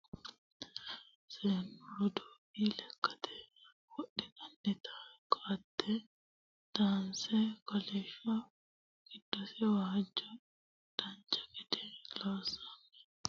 seennu roduuwi lekkate wodhannota ko"atte danase kolishsho giddose waajjo dancha gede loonsoonni minira woluri mule noota anfanni hee'noonni baseeti yaate